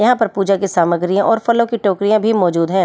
यहां पर पूजा की सामग्रियां और फलों की टोकरियां भी मौजूद हैं।